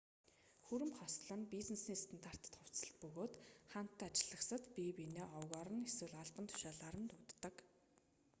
хүрэм хослол нь бизнесийн стандарт хувцаслалт бөгөөд хамт ажиллагсад бие биенээ овгоор нь эсвэл албан тушаалаар нь дууддаг